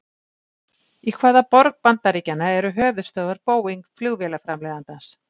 Í hvaða borg bandaríkjanna eru höfuðstöðvar Boeing flugvélaframleiðandans?